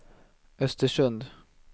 Östersund